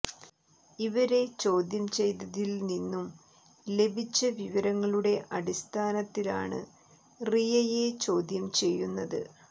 ഇവരെ ചോദ്യം ചെയ്തതിൽ നിന്നു ലഭിച്ച വിവരങ്ങളുടെ അടിസ്ഥാനത്തിലാണ് റിയയെ ചോദ്യം ചെയ്യുന്നത്